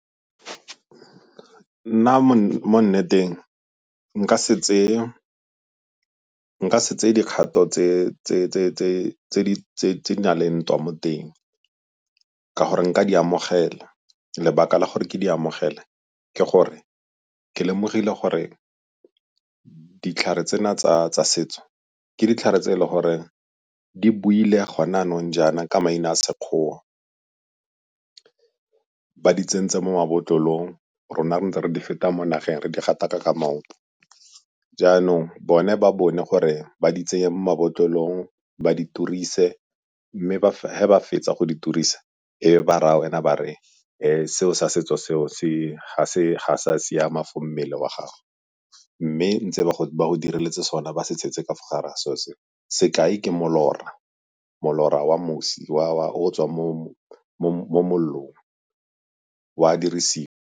Nna mo nneteng nka se tseye dikgato tse di na leng ntwa mo teng ka gore nka di amogela. Lebaka la gore ke di amogele ke gore ke lemogile gore ditlhare tsena tsa setso ke ditlhare tse e le gore di buile gone yanong jaana ka maina a Sekgowa, ba di tsentse mo mabotlolong, rona re ntse re di feta mo nageng re di gataka ka maoto. Jaanong bone ba bone gore ba di tsenye mo mabotlolong ba di turise mme ge ba fetsa go turisa e be ba raya wena ba re seo sa setso seo ga se a siama for mmele wa gago. Mme ntse ba go direletse sona ba se tshetse ka fo gare ga se'o sekai, ke molora, molora wa mosi o o tswang mo mollong o a dirisiwa.